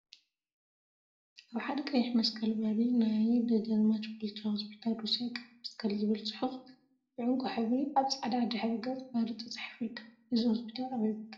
አብ ሓደ ቀይ መስቀል በሪ ናይ ደጃዝማች ባልቻ ሆስፒታል ሩስያ ቀይ መስቀል ዝብል ፅሑፍ ብዕንቋ ሕብሪ አብ ፃዕዳ ድሕረ ገፅ በሪ ተፃሒፉ ይርከብ፡፡ እዚ ሆስፒታል አበይ ቦታ ይርከብ?